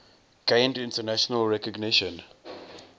gained international recognition